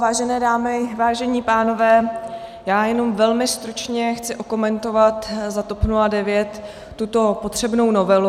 Vážené dámy, vážení pánové, já jenom velmi stručně chci okomentovat za TOP 09 tuto potřebnou novelu.